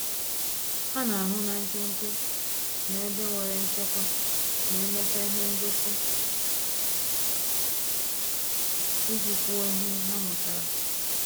Ha na-ahụ na nke nke na ebe nwere nchekwa ma emecha ihe ngosi, iji kwuo ihe ha mụtara